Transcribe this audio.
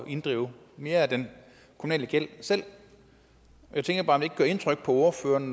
inddrive mere af den kommunale gæld selv jeg tænker bare om det ikke gør indtryk på ordføreren